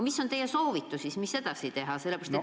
Mis on teie soovitus, mida edasi teha?